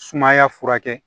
Sumaya furakɛ